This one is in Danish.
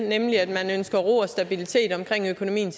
nemlig at man ønsker ro og stabilitet omkring økonomien